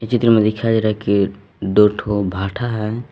चित्र में दिखाई दे रहा है कि दो ठो भाठा है।